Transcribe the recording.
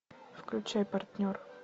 включай партнер